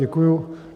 Děkuji.